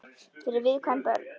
Fyrir viðkvæm börn.